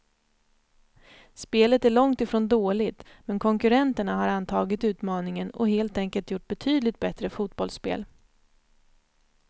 Spelet är långt ifrån dåligt, men konkurrenterna har antagit utmaningen och helt enkelt gjort betydligt bättre fotbollsspel.